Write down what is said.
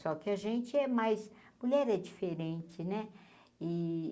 Só que a gente é mais... Mulher é diferente, né? e